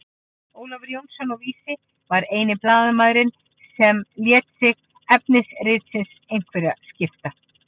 Ólafur Jónsson á Vísi var eini blaðamaðurinn sem lét sig efni ritsins einhverju skipta.